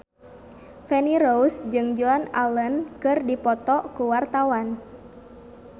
Feni Rose jeung Joan Allen keur dipoto ku wartawan